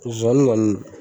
Zonzani kɔni